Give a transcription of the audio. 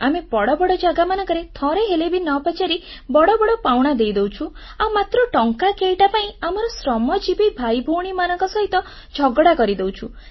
ଆମେ ବଡ଼ ବଡ଼ ଜାଗାମାନଙ୍କରେ ଥରେହେଲେ ବି ନ ପଚାରି ବଡ଼ ବଡ଼ ପାଉଣା ଦେଇ ଦଉଛୁ ଆଉ ମାତ୍ର ଟଙ୍କା କେଇଟା ପାଇଁ ଆମର ଶ୍ରମଜୀବି ଭାଇ ଭଉଣୀମାନଙ୍କ ସହିତ ଝଗଡ଼ା କରିଦଉଛୁ